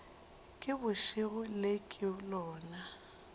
ke bošego le ke lona